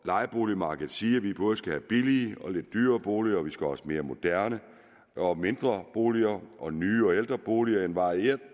lejeboligmarkedet sige at vi både skal have billige og lidt dyrere boliger vi skal også have mere moderne og mindre boliger og nye og ældre boliger altså et varieret